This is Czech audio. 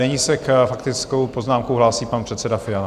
Nyní se s faktickou poznámkou hlásí pan předseda Fiala.